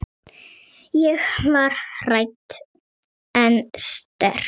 Ég var hrædd en sterk.